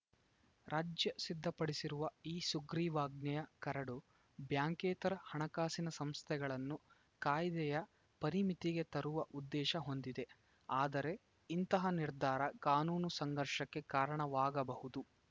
ರಾಜ್ಯ ಸಿದ್ಧಪಡಿಸಿರುವ ಈ ಸುಗ್ರೀವಾಜ್ಞೆಯ ಕರಡು ಬ್ಯಾಂಕೇತರ ಹಣಕಾಸಿನ ಸಂಸ್ಥೆಗಳನ್ನು ಕಾಯ್ದೆಯ ಪರಿಮಿತಿಗೆ ತರುವ ಉದ್ದೇಶ ಹೊಂದಿದೆ ಆದರೆ ಇಂತಹ ನಿರ್ಧಾರ ಕಾನೂನು ಸಂಘರ್ಷಕ್ಕೆ ಕಾರಣವಾಗಬಹುದು